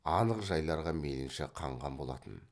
анық жайларға мейлінше қанған болатын